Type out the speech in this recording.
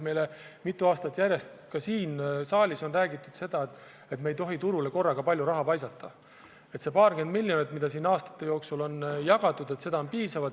Meile on mitu aastat järjest ka siin saalis räägitud seda, et me ei tohi turule korraga palju raha paisata, et see paarkümmend miljonit, mida siin aastate jooksul on jagatud, on piisav.